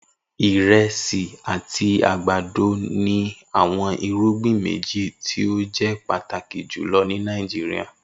Iresi ati agbado ni awọn irugbin meji ti o jẹ pataki julọ ni Nigeria